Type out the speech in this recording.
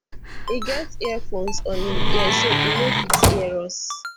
e get headphones on im ears so e no fit hear us